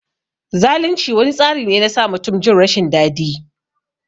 Zalunci wani tsari ne na sa mutum Jin rashin dadi.